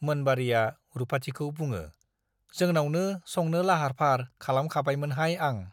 मोनबारीया रुपाथिखौ बुङो , जोनावनो संनो लाहार फाहार खालाम खाबायमोनहाय आं ।